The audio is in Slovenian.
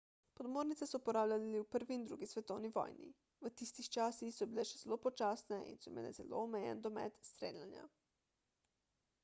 podmornice so uporabljali v 1 in 2 svetovni vojni v tistih časih so bile še zelo počasne in so imele zelo omejen domet streljanja